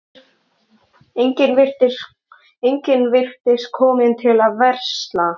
Enginn virtist kominn til að versla.